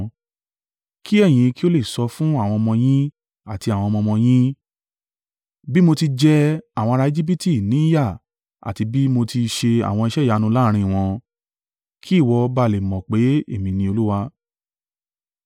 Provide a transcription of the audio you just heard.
Kí ẹ̀yin ki ó le sọ fún àwọn ọmọ yín àti àwọn ọmọ ọmọ yín; bí mo ti jẹ àwọn ará Ejibiti ní yà àti bí mo ti ṣe àwọn iṣẹ́ ìyanu láàrín wọn. Kí ìwọ ba á le mọ̀ pé Èmi ni Olúwa.”